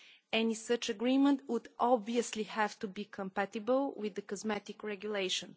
Any such agreement would obviously have to be compatible with the Cosmetics Regulation.